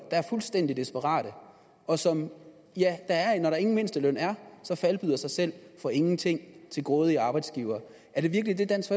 er fuldstændig desperate og som når der ingen mindsteløn er falbyder sig selv for ingenting til grådige arbejdsgivere er det virkelig det dansk